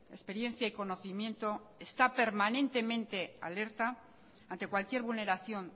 experiencia y conocimiento está permanentemente alerta ante cualquier vulneración